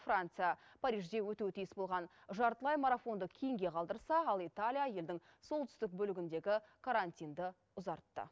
франция парижде өтуі тиіс болған жартылай марафонды кейінге қалдырса ал италия елдің солтүстік бөлігіндегі карантинді ұзартты